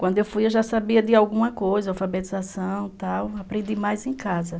Quando eu fui eu já sabia de alguma coisa, alfabetização e tal, aprendi mais em casa.